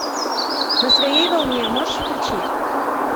на своей волне можешь включить